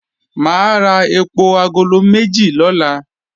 Mà á ra èpò agolo méjì lọ́la